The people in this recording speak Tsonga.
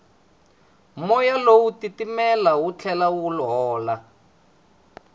moya lowu wa titimela wu tlhela wu hola